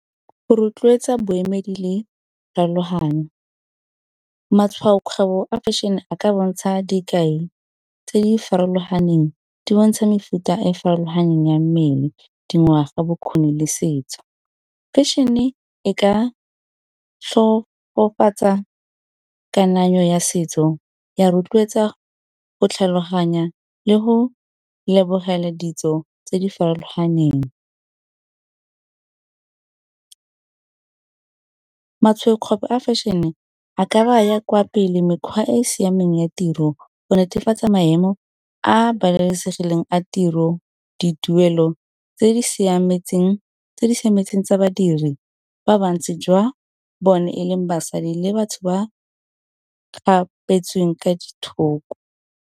Go rotloetsa boemedi le farologano, matshwaokgwebo a fashion-e a ka bontsha dikai tse di farologaneng di bontsha mefuta e farologaneng ya mmele dingwaga bokgoni le setso. Fashion-e e ka kananyo ya setso ya rotloetsa go tlhaloganya le go lebogela ditso tse di farologaneng. Matshwaokgwebo a fashion-e a ka baya kwa pele mekgwa e e siameng ya tiro go netefatsa maemo a a babalesegileng a tiro dituelo tse di siametseng tsa badiri ba bantsi jwa bone e leng basadi, le batho ba kgapetsweng kwa di thoko.